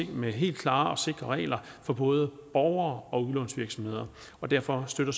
helt klare og sikre regler for både borgere og udlånsvirksomheder og derfor støtter